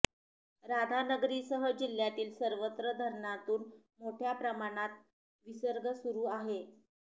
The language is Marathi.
राधानगरीसह जिल्ह्यातील सर्वच धरणांतून मोठ्या प्रमाणात विसर्ग सुरू आहे